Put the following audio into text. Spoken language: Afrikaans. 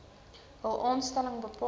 hul aanstelling bepaal